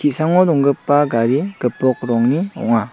donggipa gari gipok rongni ong·a.